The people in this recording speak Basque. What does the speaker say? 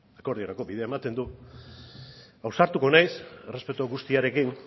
akordiorako bidea ematen du ausartuko naiz errespetu guztiarekin